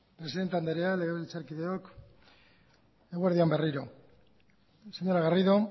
presidente andrea legebiltzarkideok eguerdi on berriro señora garrido